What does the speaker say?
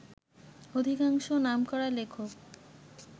অধিকাংশই নামকরা লেখক